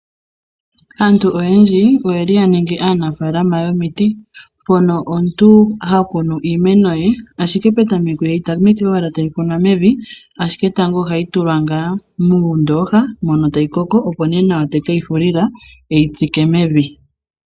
Aantu oyendji, oye li ya ningi aanafaalama yomiti, mpono omuntu ha kunu iimeno ye, ashike petameko iha yi tamekwa owala ta yi kunwa mevi, ashike tango oha yi tulwa ngaa muundooka, mono ta yi koko, opo nee nawa ye teke yi fulila e yi tsike mevi.